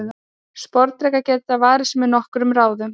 Sporðdrekar geta varið sig með nokkrum ráðum.